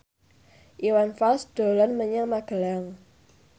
Iwan Fals dolan menyang Magelang